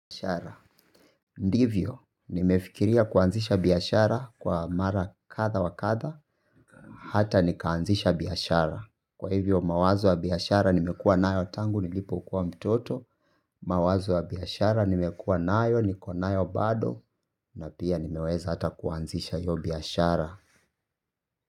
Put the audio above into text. Biashara. Ndivyo, nimefikiria kuanzisha biashara kwa mara kadha wa kadha, hata nikaanzisha biashara. Kwa hivyo, mawazo wa biashara nimekua nayo tangu nilipokua mtoto, mawazo wa biashara nimekua nayo, niko nayo bado, na pia nimeweza hata kuanzisha hio biashara.